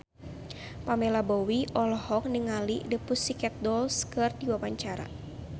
Pamela Bowie olohok ningali The Pussycat Dolls keur diwawancara